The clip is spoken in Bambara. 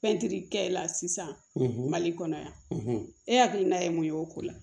Pɛntiri kɛla sisan mali kɔnɔ yan e hakilina ye mun ye o ko la